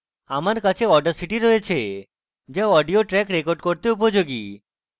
আমার কাছে audacity রয়েছে so audio ট্রেক record করতে উপযোগী